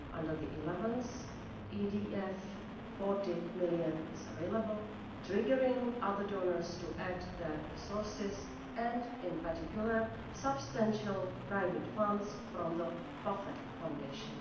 Under the 11th EDF, EUR 40 million is available, triggering other donors to add their resources and, in particular, substantial private funds from the Buffett Foundation.